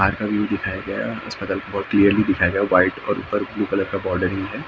बाहर का व्यू दिखाया गया है अस्पताल का बहुत किल्यर्ली दिखाया गया है व्हाइट और ऊपर ब्लू कलर का बॉडरिंग है ।